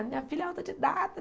A minha filha é autodidata.